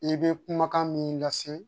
I bɛ kumakan min lase